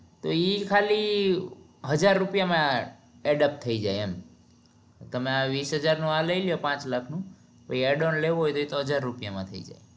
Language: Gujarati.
તો ઈ ખાલી હજાર રૂપિયા માંઅદપ્ત થઇ જાય એમ તમે આ વીસ હજાર નું આ લઇ લો પાંચ લાખ નું તો adult લેવું હોય તો એ હજાર રૂપિયા માં થઇ જાય